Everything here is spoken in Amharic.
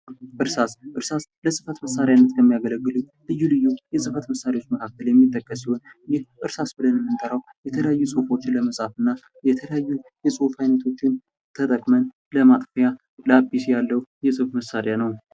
እርሳስ እርሳስ ለፅፈት መሣሪያነት የሚገለግሉ ልዩ ልዩ የፅህፈት መሣሪያዎች መካከል የሚጠቀስ ሲሆን ይህ እርሳስ ብለን የምንጠራው የለያዩ ፁፎችን ለመፃፍ እና የተለያዩ የፁፍ አይነቶችን ተጠቅመን ለማጥፊያ ላፒስ ያለው የፅፈት መሣሪያ ነው።